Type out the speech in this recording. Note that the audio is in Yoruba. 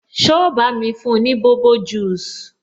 So bá mi fún ni bobo juice?